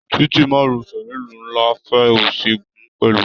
Títí márosẹ̀ nílu nlá fẹ òsì gun pẹlú.